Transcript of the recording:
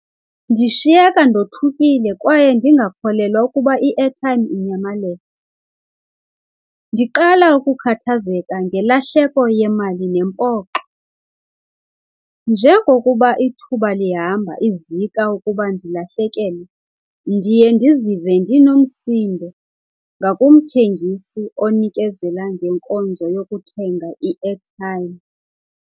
Ndishiyeka ndothukile kwaye ndingakholelwa ukuba i-airtime inyamalele. Ndiqala ukukhathazeka ngelahleko yemali nempoxo. Njengokuba ithuba lihamba izika ukuba ndilahlekelwe ndiye ndizive ndinomsindo ngakumthengisi onikezela ngenkonzo yokuthenga i-airtime.